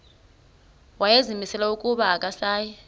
wayezimisele ukuba akasayi